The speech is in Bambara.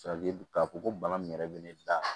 k'a fɔ ko bana min yɛrɛ bɛ ne da